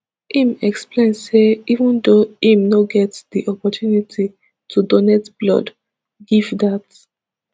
im explain say even though im no get di opportunity to donate blood give dat